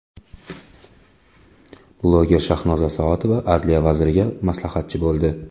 Bloger Shahnoza Soatova adliya vaziriga maslahatchi bo‘ldi.